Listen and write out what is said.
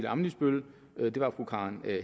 ammitzbøll det var fru karen